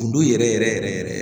Kundo yɛrɛ yɛrɛ yɛrɛ yɛrɛ